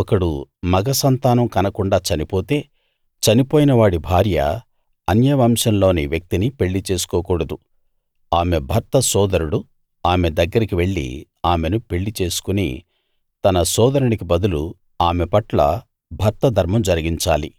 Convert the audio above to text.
ఒకడు మగ సంతానం కనకుండా చనిపోతే చనిపోయిన వాడి భార్య అన్య వంశంలోని వ్యక్తిని పెళ్ళిచేసుకోకూడదు ఆమె భర్త సోదరుడు ఆమె దగ్గరికి వెళ్లి ఆమెను పెళ్లి చేసుకుని తన సోదరునికి బదులు ఆమె పట్ల భర్త ధర్మం జరిగించాలి